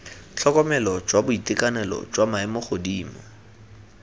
tlhokomelo jwa boitekanelo jwa maemogodimo